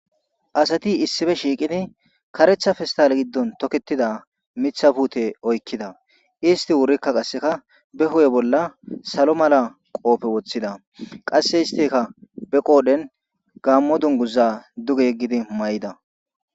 asati issife shiiqidi karetha festal giddon toketida mitha puute oykkida isti wurikka qasseka be hu7e bolla salo mala qoofe woththida qasse isteka be qoodhen gammo dunguza duge yeggidi may7ida